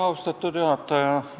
Austatud juhataja!